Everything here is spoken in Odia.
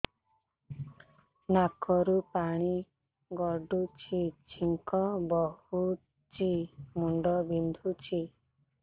ନାକରୁ ପାଣି ଗଡୁଛି ଛିଙ୍କ ହଉଚି ମୁଣ୍ଡ ବିନ୍ଧୁଛି